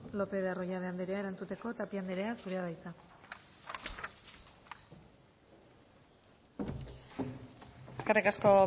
lópez de arroyabe anderea erantzuteko tapia anderea zurea da hitza eskerrik asko